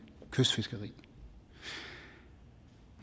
kystfiskeri